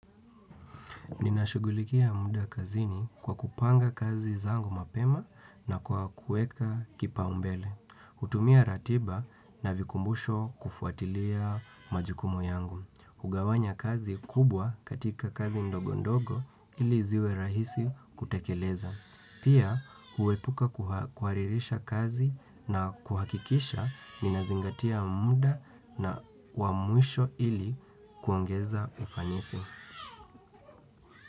Ninashughulikia muda kazini kwa kupanga kazi zangu mapema na kwa kueka kipaumbele. Natumia ratiba na vikumbusho kufuatilia majukumu yangu. Hugawanya kazi kubwa katika kazi ndogo ndogo ili ziwe rahisi kutekeleza. Pia huepuka kuharirisha kazi na kuhakikisha ninazingatia muda na wa mwisho ili kuongeza ufanisi.